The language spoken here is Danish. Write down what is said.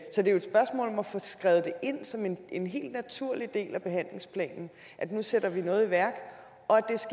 få skrevet det ind som en en helt naturlig del af behandlingsplanen at nu sætter man noget i værk og at